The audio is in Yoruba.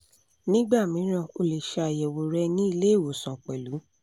nígbà mìíràn ó lè ṣe ayẹwo rẹ́ ni ile iwosan pẹ̀lú